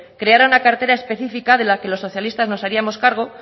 creara una carpeta específica de la que los socialistas nos haríamos cargo